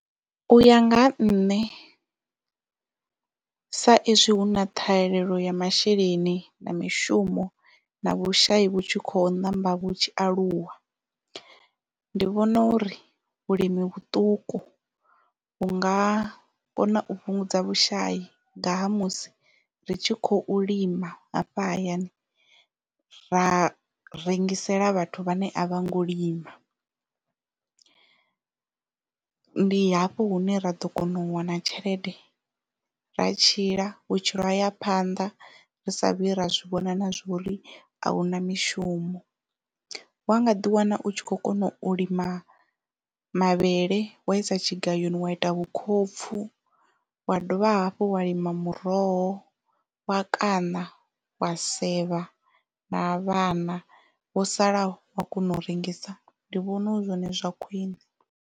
U ya nga ha nṋe sa izwi hu na ṱhahelelo ya masheleni na mishumo na vhushayi vhutshi khou ṋamba vhu tshi aluwa ndi vhona uri vhulimi vhuṱuku vhu nga kona u fhungudza vhushai ngaha musi ri tshi khou lima hafha hayani ra rengisela vhathu vhane a vha ngo lima ndi hafho hune ra ḓo kona u wana tshelede ra tshila vhutshilo haya phanda ri sa vhi ra zwi vhona na zwa uri ahuna mishumo wa nga ḓi wana u tshi kho kona u lima mavhele wa isa tshigayoni wa ita vhukhopfu wa dovha hafhu wa lima muroho wa kaṋa wa sevha na vhana wo salaho wa kona u rengisa ndi vhona hu zwone zwa khwiṋe.